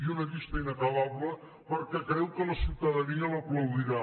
i una llista inacabable perquè creu que la ciutadania l’aplaudirà